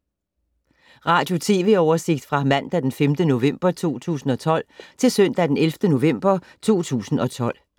Radio/TV oversigt fra mandag d. 5. november 2012 til søndag d. 11. november 2012